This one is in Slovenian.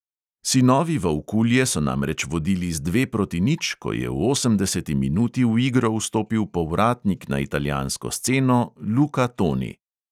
Sinovi volkulje so namreč vodili z dve proti nič, ko je v osemdeseti minuti v igro vstopil povratnik na italijansko sceno luka toni.